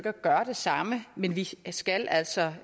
at gøre det samme men vi skal altså